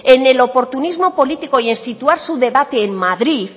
en el oportunismo político y en situar su debate en madrid